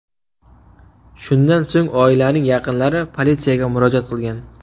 Shundan so‘ng oilaning yaqinlari politsiyaga murojaat qilgan.